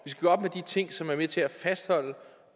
de ting som er med til at fastholde